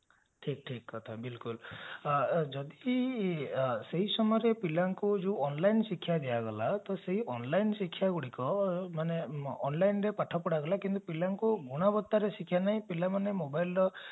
ଠିକ କଥା ବିଲକୁଲ ଯଦି ସେ ସମୟରେ ପିଲାଙ୍କୁ ଯୋଉ online ଶିକ୍ଷା ଦିଆଗଲା ତ ସେ online ଶିକ୍ଷା ଗୁଡିକ ମାନେ onlineରେ ପାଠ ପଢାଗଲା କିନ୍ତୁ ପିଲାଙ୍କୁ ଗୁଣୋବତ୍ତାରେ ଶିକ୍ଷା ନାଇଁ ପିଲାମାନେ ମୋବାଇଲର